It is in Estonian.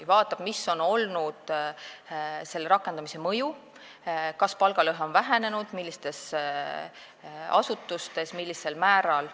Ta vaatab, mis on olnud selle rakendamise mõju, kas palgalõhe on vähenenud, millistes asutustes ja millisel määral.